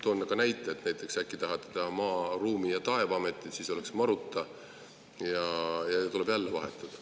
Toon näite, et äkki tahate teha Maa-, Ruumi- ja Taevaameti, siis oleks selle lühend MaRuTa, ja tuleb jälle vahetada.